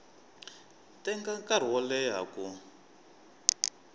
teka nkarhi wo leha ku